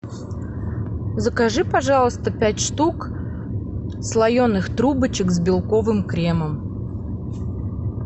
закажи пожалуйста пять штук слоеных трубочек с белковым кремом